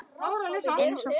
Eins og fóstra.